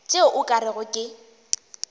tšeo o ka rego ke